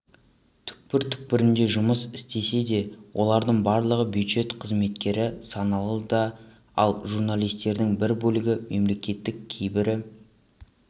түкпір-түкпірінде жұмыс істесе де олардың барлығы бюджет қызметкері саналады ал журналистердің бір бөлігі мемлекеттік кейбірі